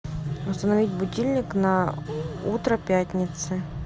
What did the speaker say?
установить будильник на утро пятницы